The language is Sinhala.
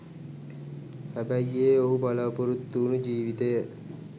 හැබැයි ඒ ඔහු බලාපොරොත්තු වූණු ජීවිතය